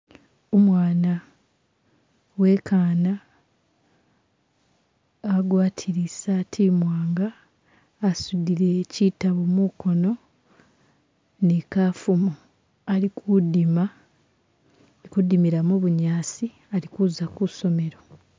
Umwana uwekana, agwatile isati imwanga asudile kitabo mukono ni kafumo ali kudima, ali kudimila mubunyasi ali kuza kusomelo.